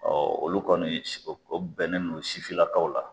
olu kɔni o o bɛnnen no sifilakaw la.